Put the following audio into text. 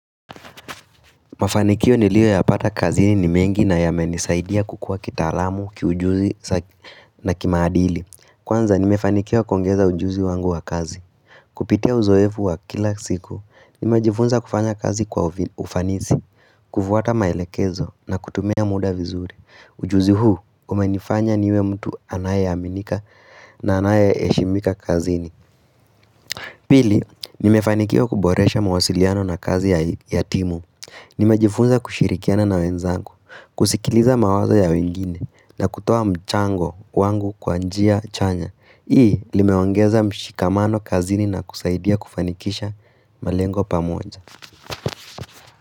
Mafanikio niliyo yapata kazini ni mengi na yamenisaidia kukua kita alamu, kiujuzi na kimaadili. Kwanza nimefanikio kongeza ujuzi wangu wa kazi. Kupitia uzoefu wa kila siku, nimejifunza kufanya kazi kwa ufanisi, kufuata maelekezo na kutumia muda vizuri. Ujuzi huu, umenifanya niwe mtu anaye aminika na anaye heshimika kazini. Pili, nimefanikiwa kuboresha mawasiliano na kazi ya timu. Ni majifunza kushirikiana na wenzangu, kusikiliza mawazo ya wengine na kutoa mchango wangu kwanjia chanya. Hii limeongeza mshikamano kazini na kusaidia kufanikisha malengo pamoja.